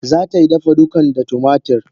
Zatai dafa dukan da tumatir.